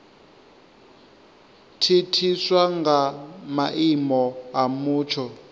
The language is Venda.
thithiswa nga maimo a mutsho